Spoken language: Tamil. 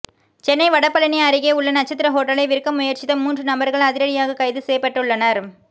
சென்னை வடபழனி அருகே உள்ள நட்சத்திர ஓட்டலை விற்க முயற்சித்த மூன்று நபர்கள் அதிரடியாக கைது செய்யப்பட்டுள்ளனர்